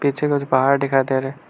पीछे कुछ पहाड़ दिखाई दे रहे--